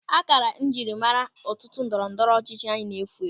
Ákárá njiri mmara otu ndọrọ ndọrọ ọchịchị anyị na-efu efu.